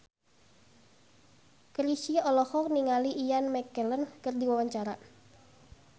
Chrisye olohok ningali Ian McKellen keur diwawancara